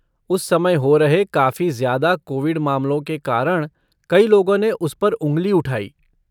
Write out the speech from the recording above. उस समय हो रहे काफी ज्यादा कोविड मामलों के कारण कई लोगों ने उस पर उंगली उठाई।